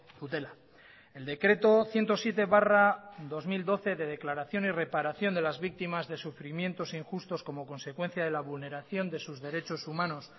dutela el decreto ciento siete barra dos mil doce de declaración y reparación de las víctimas de sufrimientos injustos como consecuencia de la vulneración de sus derechos humanos